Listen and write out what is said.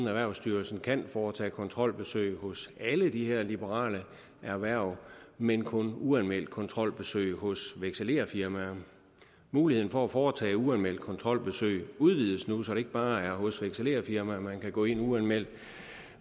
erhvervsstyrelsen kan foretage kontrolbesøg hos alle de her liberale erhverv men kun uanmeldt kontrolbesøg hos vekselererfirmaer muligheden for at foretage uanmeldt kontrolbesøg udvides nu så det ikke bare er hos vekselererfirmaer man kan gå ind uanmeldt